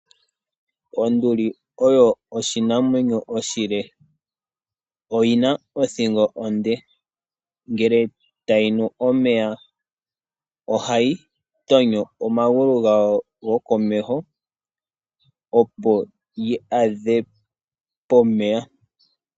Onduli oyo oshinamwemyo oshile, oyina othingo onde, ngele tayi nu omeya ohayi gonyo omagulu gayo gokomeho opo yi adhe pomeya.